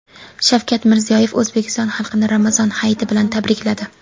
Shavkat Mirziyoyev O‘zbekiston xalqini Ramazon hayiti bilan tabrikladi.